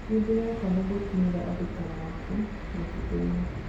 Nindirehoka niigukinyira andũ taa mwaki mũtitũini.